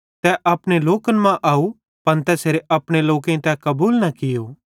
तै अपने लोकन कां आव पन तैसेरे अपनेईं तै कबूल न कियो